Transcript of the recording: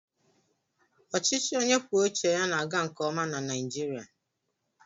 Ọchịchị onye kwue uche ya na-aga nke ọma na Naịjirịa.